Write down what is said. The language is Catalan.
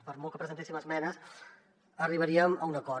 per molt que presentéssim esmenes arribaríem a un acord